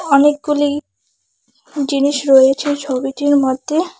অনেকগুলি জিনিস রয়েছে ছবিটির মধ্যে।